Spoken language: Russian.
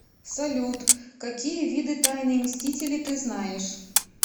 салют какие виды тайные мстители ты знаешь